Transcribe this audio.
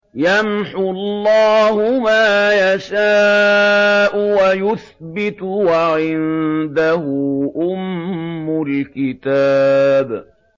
يَمْحُو اللَّهُ مَا يَشَاءُ وَيُثْبِتُ ۖ وَعِندَهُ أُمُّ الْكِتَابِ